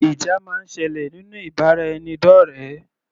Ìjà máa ń sẹlẹ̀ nínú ìbáraẹnidọ́rẹ.